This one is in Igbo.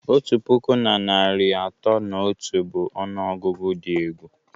Otu puku na narị atọ na otu bụ ọnụọgụgụ dị egwu